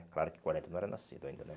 Claro que quarenta, não era nascido ainda, né?